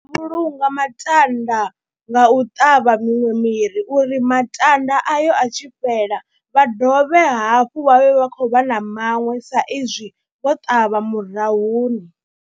Vhulunga matanda nga u ṱavha miṅwe miri uri matanda ayo a tshi fhela vha dovhe hafhu vha vhe vha khou vha na maṅwe sa izwi vho ṱavha murahuni